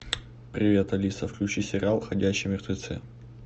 привет алиса включи сериал ходячие мертвецы